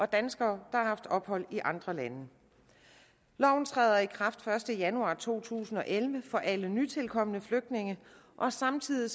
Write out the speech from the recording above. danskere der har haft ophold i andre lande loven træder i kraft den første januar to tusind og elleve for alle nytilkomne flygtninge og samtidig